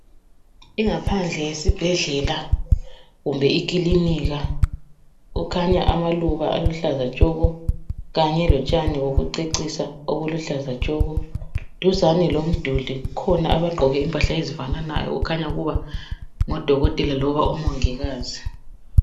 Ingaphandle yesibhedlela kumbe ikilinika, kukhanya amaluba aluhlaza tshoko kanye lotshani bokucecisa obuluhlaza tshoko. Duzane lomduli kukhona abagqoke impahla ezifananayo okukhanya ukuba ngodoktela loba omongikazi